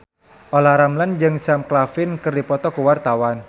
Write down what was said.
Olla Ramlan jeung Sam Claflin keur dipoto ku wartawan